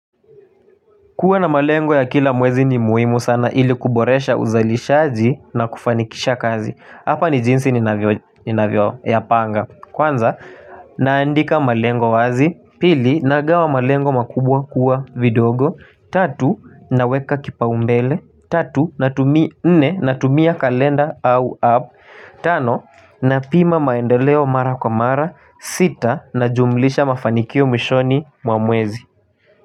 Kuwa na malengo ya kila mwezi ni muhimu sana ili kuboresha uzalishaji na kufanikisha kazi. Hapa ni jinsi ninavyoyapanga. Kwanza, naandika malengo wazi. Pili, nagawa malengo makubwa kuwa vidogo. Tatu, naweka kipaumbele. Nne, natumia kalenda au app. Tano, napima maendeleo mara kwa mara. Sita, najumlisha mafanikio mwishoni mwa mwezi.